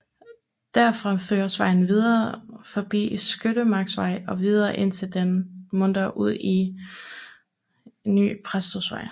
Derfra føres vejen videre forbi Skyttemarksvej og videre indtil den munder ud i Ny Præstøvej